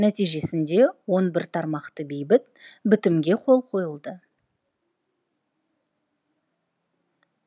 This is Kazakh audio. нәтижесінде он бір тармақты бейбіт бітімге қол қойылды